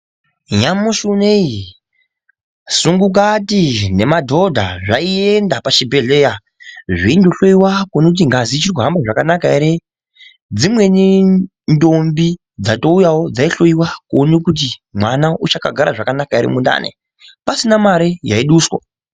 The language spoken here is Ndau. Nyamashi unowu sumbukati nemadhodha zvaienda pachibhedhlera zveindohloiwa kuona kuti ngazi dziri kuhamba zvakanaka here zvimweni ndombi dzatouyawo dzotoona kuti mwana achagara zvakanaka ere mundani pasina Mari yaduswa.